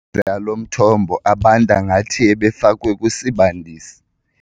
Amanzi alo mthombo abanda ngathi ebefakwe kwisibandisi.